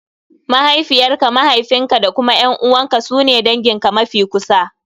Mahaifiyar ka, mahaifin ka da kuma ƴan`uwan ka su ne dangin ka mafi kusa.